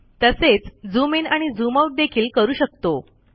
तसेच zoom in आणि zoom out देखील करू शकतो